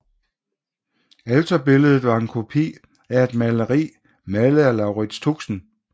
Alterbilledet var en kopi at et maleri malet af Laurits Tuxen